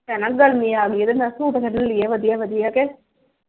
ਭੈਣਾਂ ਗਰਮੀ ਆ ਗਈ ਆ ਤੇ ਮੈਂ ਕਿਹਾ ਸੁੱਟ ਕੱਢ ਲਈਏ ਵਧੀਆ ਵਧੀਆ ਕੇ।